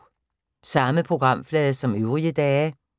Samme programflade som øvrige dage